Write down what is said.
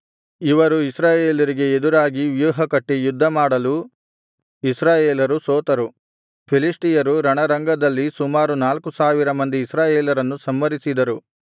ಇವರು ಇಸ್ರಾಯೇಲರಿಗೆ ಎದುರಾಗಿ ವ್ಯೂಹಕಟ್ಟಿ ಯುದ್ಧಮಾಡಲು ಇಸ್ರಾಯೇಲರು ಸೋತರು ಫಿಲಿಷ್ಟಿಯರು ರಣರಂಗದಲ್ಲಿ ಸುಮಾರು ನಾಲ್ಕು ಸಾವಿರ ಮಂದಿ ಇಸ್ರಾಯೇಲರನ್ನು ಸಂಹರಿಸಿದರು